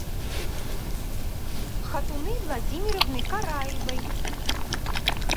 хатуны владимировны караевой